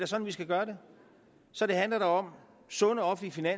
sådan vi skal gøre det så det handler om sunde offentlige